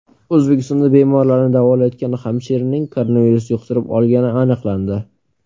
O‘zbekistonda bemorlarni davolayotgan hamshiraning koronavirus yuqtirib olgani aniqlandi.